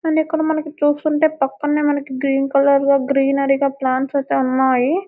and ఇక్కడ మనకి చూస్తుంటే పక్కనే మనకు గ్రీన్ కలర్ లో గ్రీనరీ గా ప్లాంట్స్ అయితే ఉన్నాయి --